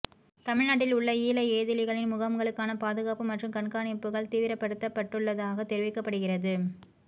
தமிழ் நாட்டில் உள்ள ஈழ ஏதிலிகளின் முகாம்களுக்கான பாதுகாப்பு மற்றும் கண்காணிப்புகள் தீவிரப்படுத்தப்பட்டுள்ளதாக தெரிவிக்கப்படுகிறது